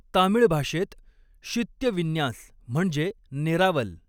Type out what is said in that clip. तामीळ भाषेत शित्य विन्यास म्हणजे नेरावल.